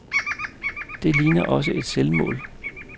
Det ligner også et selvmål.